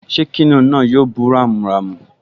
Ṣé kìnìún náà yóò bú ramúramù?